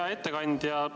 Hea ettekandja!